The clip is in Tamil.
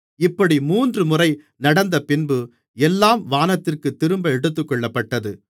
இப்படி மூன்றுமுறை நடந்தபின்பு எல்லாம் வானத்திற்குத் திரும்ப எடுத்துக்கொள்ளப்பட்டது